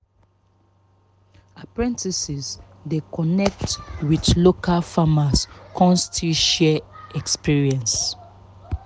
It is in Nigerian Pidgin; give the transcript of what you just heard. apprentices dey connect with local farmers kan still share experience